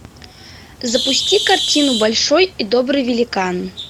запусти картину большой и добрый великан